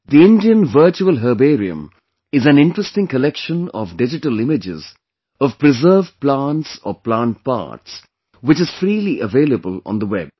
The Indian Virtual Herbarium is an interesting collection of digital images of preserved plants or plant parts, which is freely available on the web